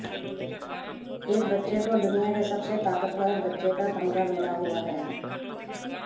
इस बच्चे को दुनिया के सबसे ताकतवर बच्चे का तमगा मिला हुआ है